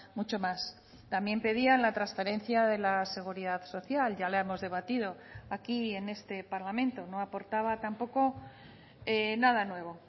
mucho más también pedían la transferencia de la seguridad social ya la hemos debatido aquí en este parlamento no aportaba tampoco nada nuevo